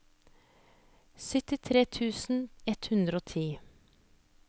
syttitre tusen ett hundre og ti